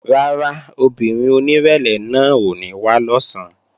Rárá, obìnrin onírẹ̀lẹ̀ náà ò ní wá lọ̀sán